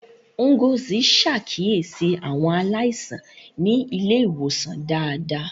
Ngozi ṣàkíyèsí àwọn aláìsàn ní ilé ìwòsàn dáadáa.